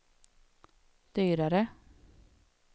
dyrare